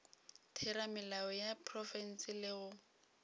theramelao ya profense le go